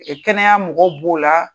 kɛnɛya mɔgɔw b'o la